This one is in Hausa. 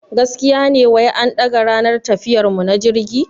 Gaskiya ne wai an daga ranar tafiyar mu na jirgi?